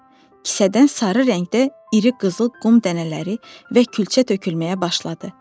Kisədən sarı rəngdə iri qızıl qum dənələri və külçə tökülməyə başladı.